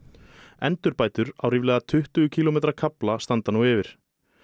endurbætur á ríflega tuttugu kílómetra kafla standa nú yfir